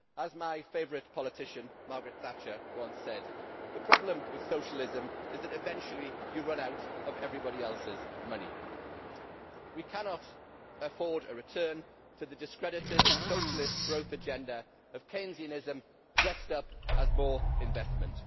As my favourite politician, Margaret Thatcher, once said, the problem with socialism is that eventually you run out of everybody else's money. We cannot afford a return to the discredited socialist growth agenda of Keynesianism dressed up as more investment.